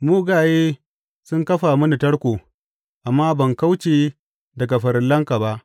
Mugaye sun kafa mini tarko, amma ban kauce daga farillanka ba.